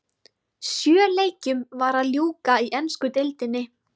Sjö leikjum var að ljúka í ensku deildinni.